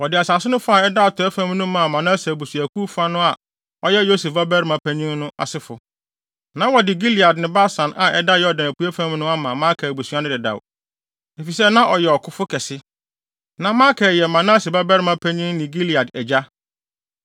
Wɔde asase no fa a ɛda atɔe fam no maa Manase abusuakuw no fa a ɔyɛ Yosef babarima panyin no asefo. Na wɔde Gilead ne Basan a ɛda Yordan apuei fam no ama Makir abusua no dedaw, efisɛ na ɔyɛ ɔkofo kɛse. (Na Makir yɛ Manase babarima panyin ne Gilead agya.)